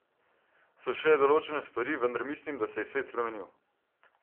So še določene stvari, vendar mislim, da se je svet spremenil.